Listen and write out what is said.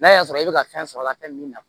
N'a y'a sɔrɔ e bɛ ka fɛn sɔrɔ a la fɛn min na